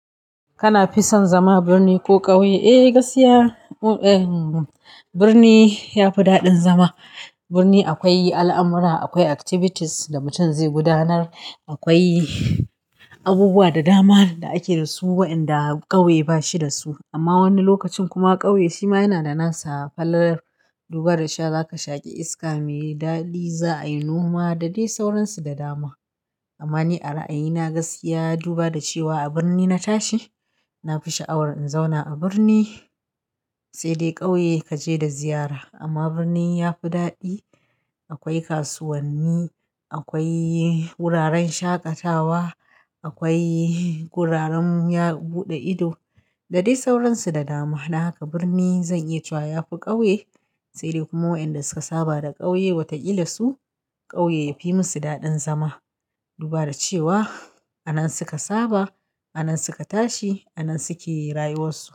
Kana fi son zama birni ko ƙauye? Eh, gaskiya birni ya fi daɗin zama. Birni akwai al'amura, akwai activities da mutum zai gudanar, akwai abubuwa da dama da ake da su waɗanda ƙauye ba shi da su. Amma wani lokacin kuma ƙauye shima yana da nasa falalar. Duba da sha, za ka shaƙi iska mai daɗi, za a yi noma da dai sauransu da dama. Amma ni a ra'ayina gaskiya, duba da cewa a birni na tashi, na fi sha'awar in zauna a birni, sai dai ƙauye ka je da ziyara. Amma birni ya fi daɗi. Akwai kasuwanni, akwai wuraren shaƙatawa, akwai wuraren buɗe ido da dai sauransu da dama. Dan haka birni zan iya cewa ya fi ƙauye. Sai dai kuma waɗanda suka saba da ƙauye watakila su ƙauye ya fi musu daɗin zama. Duba da cewa a nan suka saba, a nan suka tashi, a nan suke rayuwarsu.